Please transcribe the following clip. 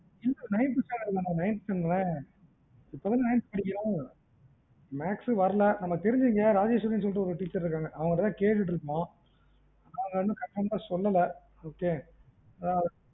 nineth standard தான மா nineth தானே இப்போ தான nineth படிக்கிறான். maths வரல நமக்கு தெரிஞ்ச இங்க ராஜேஸ்வரின்னு ஒரு teacher ன்னு ஒருத்தங்க இருக்காங்க. அவங்கிட்ட தான் கேட்டூட்ருக்கோம். அவங்க இன்னும் conformed ஆ சொல்லல okay